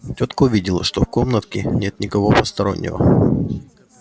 тётка увидела что в комнатке нет никого постороннего